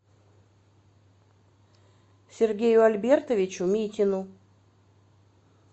сергею альбертовичу митину